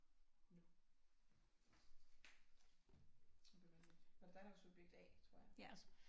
nu det bliver vanvittigt var det dig der var subjekt a tror jeg